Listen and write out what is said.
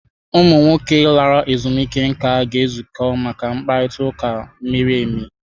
Ụmụ nwoke lara ezumike nká ga-ezukọ maka mkparịta ụka miri emi.